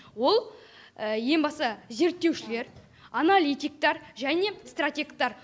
ол ең басты зерттеушілер аналитиктар және стратегтар